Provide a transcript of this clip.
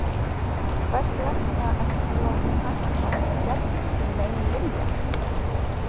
Hvers vegna ert þú látinn hætta, gegn þínum eigin vilja?